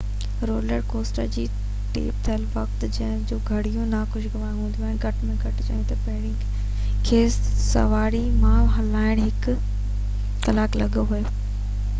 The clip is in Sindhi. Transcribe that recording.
رولر ڪوسٽر تي ٽيپ ٿيل وقت جون ڪي به گهڙيون ناخوشگوار هونديون گهٽ ۾ گهٽ چئون ته ۽ پهرين کي سواري مان لاهڻ لاءِ هڪ ڪلاڪ لڳي ويو